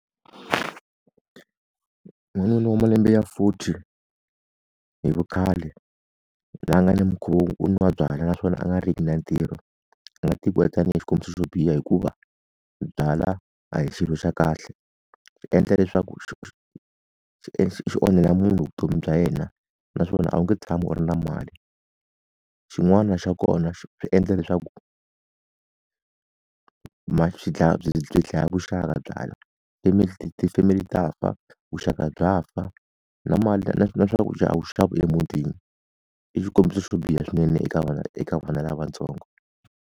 N'wanuna u malembe ya forty hi vukhale, loyi a nga ni mikhuva yo nwa byala naswona a nga ri ki na ntirho, a nga tekiwa tanihi xikombiso xo biha hikuva, byala a hi xilo xa kahle. Swi endla leswaku swi onhela munhu vutomi bya yena, naswona a wu nge tshami u ri na mali. Xin'wana xa kona swi endla leswaku, byi dlaya vuxaka byala. family ta fa, vuxaka bya fa na mali na na swakudya a wu xava emutini. I xikombiso swo biha swinene eka vana eka vana lavatsongo.